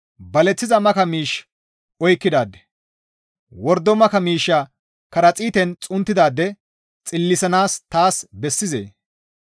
baleththiza maka miish oykkidaade, wordo maka miishsha karaxiiten xunttidaade xillisanaas taas bessizee?